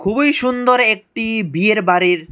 ওই সুন্দর একটি বিয়ের বাড়ির--